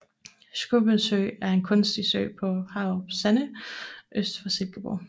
Schoubyes Sø er en kunstig sø på Haarup Sande øst for Silkeborg